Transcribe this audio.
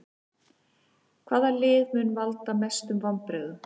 Hvaða lið mun valda mestum vonbrigðum?